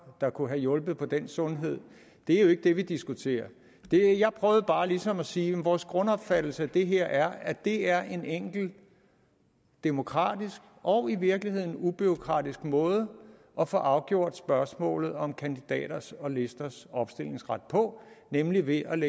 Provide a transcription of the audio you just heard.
der kunne have hjulpet på den sundhed det er jo ikke det vi diskuterer jeg prøvede bare ligesom at sige at vores grundopfattelse af det her er at det er en enkel demokratisk og i virkeligheden ubureaukratisk måde at få afgjort spørgsmålet om kandidaters og listers opstillingsret på nemlig ved at man